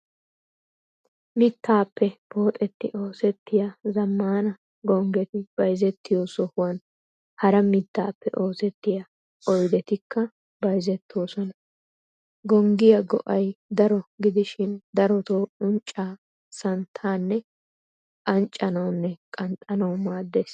Mittaappe pooxetti oosettiya zammaana gonggeti bayzettiyoo sohuwan hara mittaappe oosettiya oydetikka bayzettoosona. Gonggiyaa go"ay daro gidishin darotoo unccaa, santtaannee anccanawunne qanxxanawu maaddees.